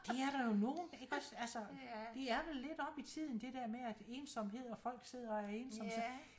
Det er der jo nogle ikke også altså det er vel lidt oppe i tiden det dér med at ensomhed og folk sidder og er ensomme så